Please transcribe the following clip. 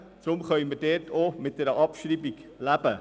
Deshalb können wir dort auch mit einer Abschreibung leben.